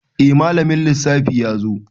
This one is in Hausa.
Eh malamin lissafi yazo